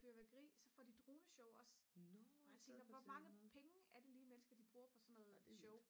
fyrværkeri så får de droneshow også og jeg tænker hvor mange penge er det lige mennesker bruger på sådan noget show